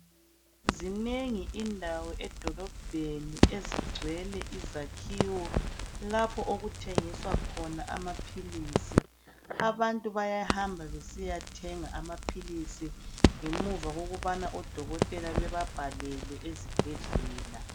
Zinengi indawo edolobheni ezigcwele izakhiwo lapho okuthengiswa khona amaphilisi. Abantu bayahamba besiyathenga amaphilisi khona ngemva koku bhalelwa ngudokotela incwadi yokuthi bathenge khona.